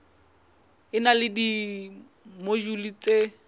e na le dimojule tse